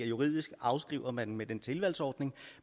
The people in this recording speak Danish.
juridisk afskriver man det med den tilvalgsordning